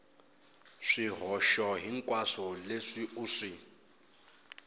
swihoxo hinkwaswo leswi u swi